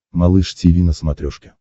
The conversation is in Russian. малыш тиви на смотрешке